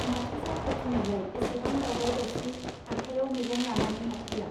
माथो जाखो दिनैलाय एसेबां दावराव दावसि आखायाव मैगं लानानै हाबफैया.